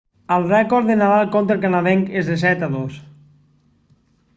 el rècord de nadal conta el canadenc és de 7-2